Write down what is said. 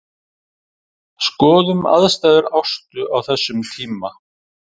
Skoðum aðstæður Ástu á þessum tíma.